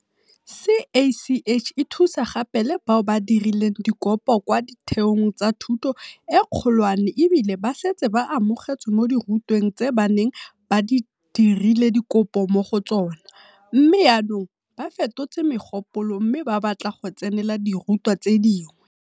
CACH e thusa gape le bao ba dirileng dikopo kwa ditheong tsa thuto e kgolwane ebile ba setse ba amogetswe mo dirutweng tse ba neng ba dirile dikopo mo go tsona, mme jaanong ba fetotse mogopolo mme ba batla go tsenela dirutwa tse dingwe.